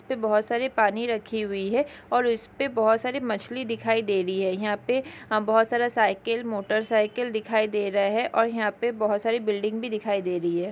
यहाँ पर बहुत सारे पानी रखी हुई है और उसपे बहुत सारे मछली दिखाई दे रही है यहाँ पे बहुत सारा साइकिल मोटरसाइकिल दिखाई दे रहा हैं और यहाँ पे बहुत सारा बिल्डिंग भी दिखाई दे रही है।